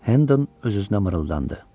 Hən öz-özünə mırıldandı.